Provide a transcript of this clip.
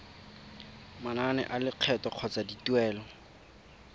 manane a lekgetho kgotsa dituelo